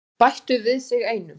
Bættu við sig einum.